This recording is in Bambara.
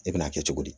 E bɛna kɛ cogo di